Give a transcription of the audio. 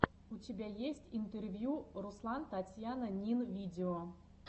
у тебя есть интервью руслантатьянинвидео